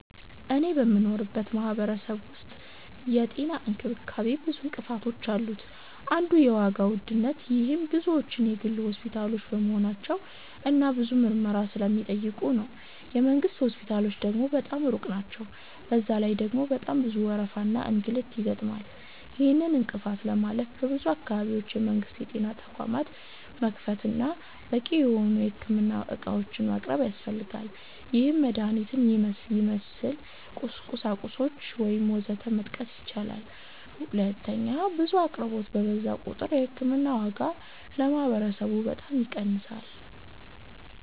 እኔ በምኖርበት ማህበረሰብ ዉስጥ የጤና እንክብካቤ ብዙ እንቅፋቶች አሉት አንዱ የዋጋ ዉድነት -ይሄም ብዙዎቹ የግል ሆስፒታሎች በመሆናቸው እና ብዙ ምርመራ ስለሚጠይቁ ነው። የ መንግስት ሆስፒታሎች ደግሞ በጣም ሩቅ ናቸዉ፤ በዛ ላይ ደግሞ በጣም ብዙ ወረፋና እንግልት ይገጥማል። ይህንን እንቅፋት ለማለፍ በሁሉም አካባቢዎች የመንግስት የጤና ተቋማት መክፈት እና በቂ የሆኑ የህክምና ዕቃዎችን ማቅረብ ያስፈልጋል -ይህም መድሀኒትን ይመስል፣ ቁሳቁሶች ወዘተ መጥቀስ ይቻላል። 2. ብዙ አቅርቦት በበዛ ቁጥር የ ህክምና ዋጋ ለማህበረሰቡ በጣም ይቀንሳል።